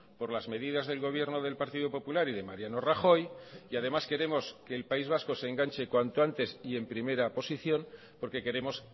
por las medidas del gobierno del partido popular y de mariano rajoy y además queremos que el país vasco se enganche cuanto antes y en primera posición porque queremos